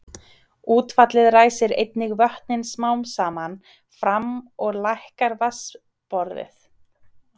Útfallið ræsir einnig vötnin smám saman fram og lækkar vatnsborðið.